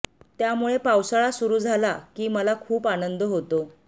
त्यामुळे पावसाळा सुरू झाला की मला खूप आनंद होतो